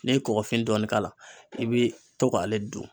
Ne ye kɔkɔfin dɔɔni k'a la i bi to k'ale dun.